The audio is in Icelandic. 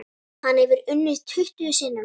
Hann hefur unnið tuttugu sinnum.